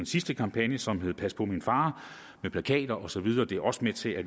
sidste kampagne som hed pas på min far med plakater og så videre det er også med til at